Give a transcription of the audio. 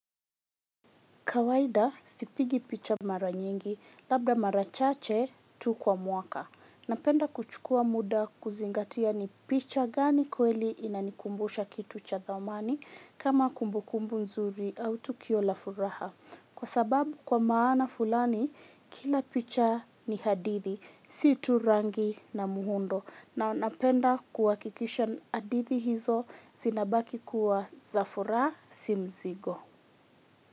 Kawaida, sipigi picha mara nyingi, labda mara chache tu kwa mwaka. Napenda kuchukua muda kuzingatia ni picha gani kweli inanikumbusha kitu cha dhamani, kama kumbukumbu nzuri au tukio la furaha. Kwa sababu kwa maana fulani, kila picha ni hadithi, si tu rangi na muhundo. Na napenda kuwakikisha hadithi hizo zinabaki kuwa za furaha si mzigo.